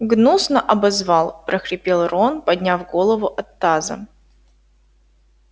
гнусно обозвал прохрипел рон подняв голову от таза